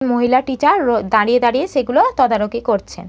মহিলা টিচার র দাঁড়িয়ে দাঁড়িয়ে সেগুলো তদারকি করছেন।